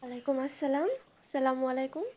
ওয়ালাইকুম আসসালাম আসসালামু আলাইকুম